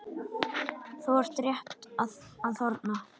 Þau eru rétt að þorna!